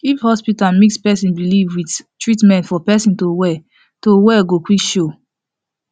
if hospital mix person belief with treatment for person to well to well go quick show